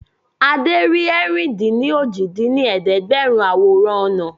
Adé rí ẹ̀rin-dín-ní-ojì dín ní ẹ̀ẹ́dẹ́gbẹ́rún àwòrán ọ̀nà